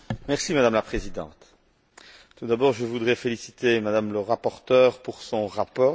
Madame la Présidente, tout d'abord, je voudrais féliciter Mme le rapporteur pour son rapport.